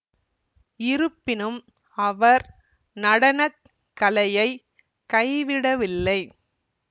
இருப்பினும் அவர் நடன கலையை கைவிடவில்லை